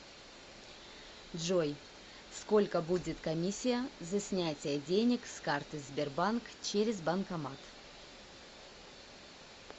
джой сколько будет комиссия за снятие денег с карты сбербанк через банкомат